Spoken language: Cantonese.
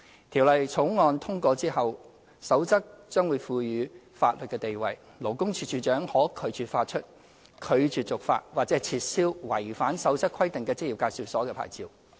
《條例草案》通過之後，《守則》將獲賦予法律地位，勞工處處長可拒絕發出、拒絕續發或撤銷違反《守則》規定的職業介紹所的牌照。